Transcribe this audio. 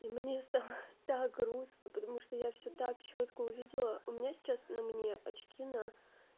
и мне стало так грустно потому что я всё так чётко увидела у меня сейчас на мне очки на